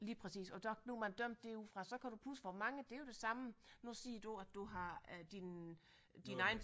Lige præcis og der nu har man dømt det ud fra så kan pudse hvor mange det er jo det samme nu siger du at du har din øh din egen